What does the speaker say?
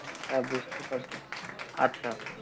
হ্যাঁ বুঝতে পারছি আচ্ছা